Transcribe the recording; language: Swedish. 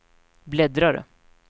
bläddrare